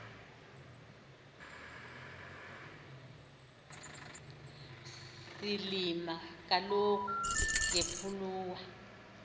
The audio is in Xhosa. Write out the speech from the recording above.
silima kaloku ngepuluwa